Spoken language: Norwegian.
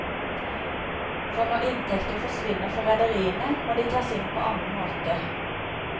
For når inntekter forsvinner for rederiene, må de tas inn på annen måte.